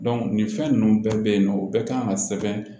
nin fɛn ninnu bɛɛ bɛ yen nɔ u bɛɛ kan ka sɛbɛn